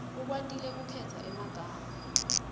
ukwatile kukhetsa emagama